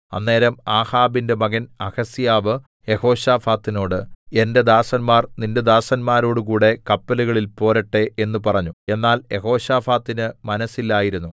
അന്നേരം ആഹാബിന്റെ മകൻ അഹസ്യാവ് യെഹോശാഫാത്തിനോട് എന്റെ ദാസന്മാർ നിന്റെ ദാസന്മാരോടുകൂടെ കപ്പലുകളിൽ പോരട്ടെ എന്ന് പറഞ്ഞു എന്നാൽ യെഹോശാഫാത്തിന് മനസ്സില്ലായിരുന്നു